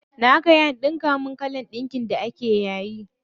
Na kai an ɗinka min kalan ɗinkin da ake yayi.